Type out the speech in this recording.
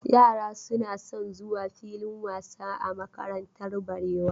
Yara suna son zuwa filin wasa a makarantar Barewa.